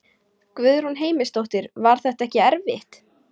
Guðrún Heimisdóttir: Var þetta ekki erfitt?